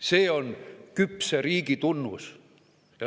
See on küpse riigi tunnus.